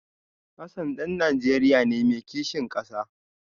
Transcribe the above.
Hassan dan Najeriya ne mai kishin kasa